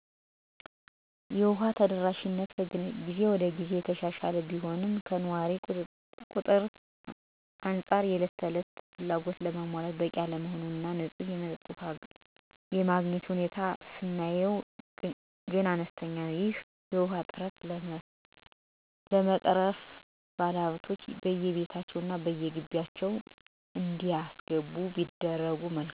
የውሃ ተደራሽነት ከግዜ ወደ ግዜ እየተሻሻለ ቢመጣም ከነዋሪው ቁጥር አንፃር የእለት ተለት ፍላጎትን ለማሟላት በቂ አለመሆን እና ንፁህ የመጠጥ ውሃ የማግኘት ሁኔታ ስናየው ግን አነስተኛ ነው። ይህን የውሃ እጥረት ለመቅረፍ ባለሀብቶች በየቤታቸው እና በየሆቴሎቻቸው ጉድጓዶችን በዉድ ዋጋ እየከፈሉ በማስቆፈር እጥረቱን ለመቅረፍ ሲጥሩ ይታያል። እንዲሁም ቤተ እምነቶች ጉድጓድ ውሃዎችን በማስቆፈር ለአካባቢው ማህበረስብ በተመጣጣኝ ዋጋ ይሸጣሉ።